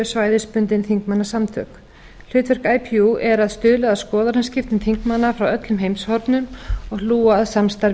svæðisbundin þingmannasambönd hlutverk ipu er að stuðla að skoðanaskiptum þingmanna frá öllu heimshornum og